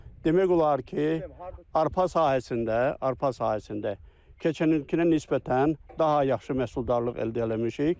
Demək olar ki, arpa sahəsində, arpa sahəsində keçən ilkinə nisbətən daha yaxşı məhsuldarlıq əldə eləmişik.